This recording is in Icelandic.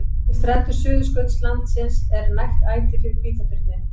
Við strendur Suðurskautslandsins er nægt æti fyrir hvítabirni.